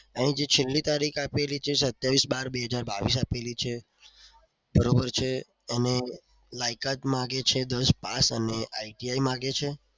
એની જે છેલ્લી તારીખ આપેલી છે. સત્યાવીસ બાર બે હજાર બાવીસ આપેલી છે અને લાયકાત માંગે છે. દસ pass અને iti માંગે છે.